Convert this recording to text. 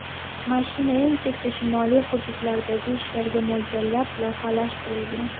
Mashina eng chekka shimoliy hududlardagi ishlarga mo‘ljallab loyihalashtirilgan.